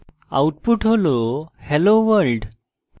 output হল hello world